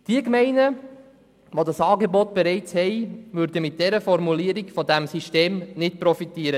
Die Gemeinden, die dieses Angebot bereits haben, würden mit der vorliegenden Formulierung nicht von diesem System profitieren.